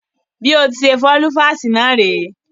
Bí ọtí ṣe fọ́ lüfáásì náà rèé.